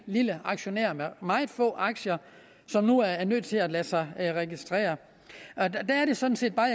lille aktionær med meget få aktier som nu er nødt til at lade sig registrere der er det sådan set bare